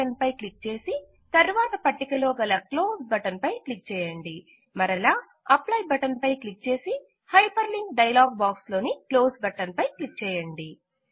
apply button పై click చేసి తరువాత పట్టిక లో గల క్లోజ్ బటన్ పై క్లిక్ చేయండి మరలా అప్లై బటన్ పై క్లిక్ చేసి హైపర్ లింక్ డైలాగ్ బాక్స్ లోని క్లోస్ బటన్ పై క్లిక్ చేయండి